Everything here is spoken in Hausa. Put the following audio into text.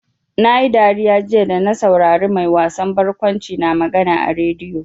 Na yi dariya jiya da na saurari mai wasan barkwanci na magana a rediyo.